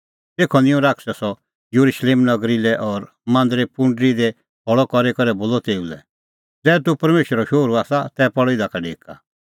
तेखअ निंयं शैतानै सह येरुशलेम नगरी लै और मांदरे पुंडरी दी खल़अ करी करै बोलअ तेऊ लै ज़ै तूह परमेशरो शोहरू आसा तै पल़ इधा का ढेका